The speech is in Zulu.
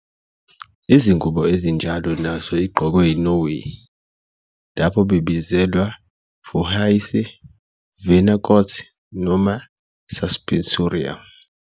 Izingubo ezinjalo nazo igqoke Norway, lapho bebizelwa "forhyse," "vaenakot," noma "suspensorium."